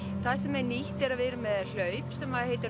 það sem er nýtt er að við erum með hlaup sem heitir